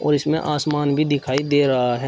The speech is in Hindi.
और इसमें आसमान भी दिखाई दे रहा है।